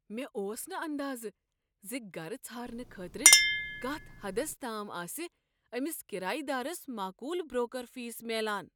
مےٚ اوس نہٕ اندازٕ ز گر ژھارنہٕ خٲطرٕ کتھ حدس تام آسہ امس کرایہ دارس معقول بروکر فیس میلان !